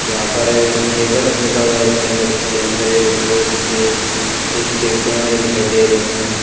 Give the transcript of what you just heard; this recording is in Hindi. यहां पर एक बलफ लगा हुआ है इसके अंदर इसके अंदर एक दो कुछ सी_सी_टी_वी कैमरे दिखाई दे रहे हैं।